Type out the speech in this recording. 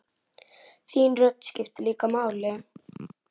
Þín rödd skiptir líka máli.